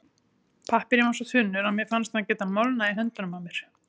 Pappírinn var svo þunnur að mér fannst hann geta molnað í höndunum á mér.